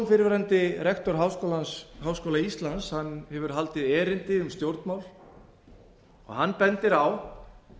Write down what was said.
fyrrverandi rektor háskóla íslands hefur haldið erindi um stjórnmál og hann bendir á